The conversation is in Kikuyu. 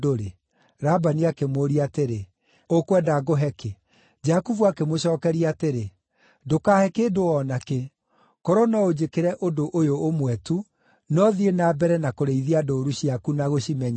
Labani akĩmũũria atĩrĩ, “Ũkwenda ngũhe kĩ?” Jakubu akĩmũcookeria atĩrĩ, “Ndũkahe kĩndũ o na kĩ. Korwo no ũnjĩkĩre ũndũ ũyũ ũmwe tu, no thiĩ na mbere na kũrĩithia ndũũru ciaku na gũcimenyerera: